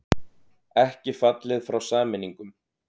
Ekki fallið frá sameiningum